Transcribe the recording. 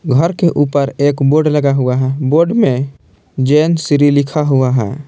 घर के ऊपर एक बोर्ड लगा हुआ है बोर्ड में जैन श्री लिखा हुआ है।